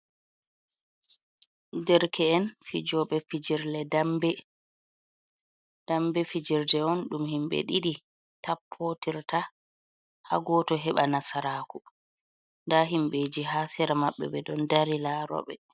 Ɗerke'en fijoɓe dambe. Ɗambe fijerde on dum himbe ɗidi tappotirta ha goto heɓa nasaraku. da himbeji ha sera maɓɓe be don dari laroɓe.